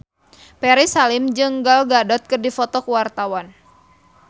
Ferry Salim jeung Gal Gadot keur dipoto ku wartawan